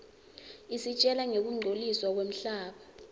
isitjela ngekungcoliswa kwemhlaba